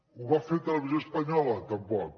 ho va fer televisió espanyola tampoc